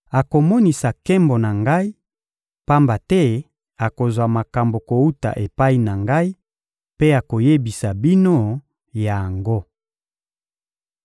akomonisa nkembo na Ngai, pamba te akozwa makambo kowuta epai na Ngai mpe akoyebisa bino yango.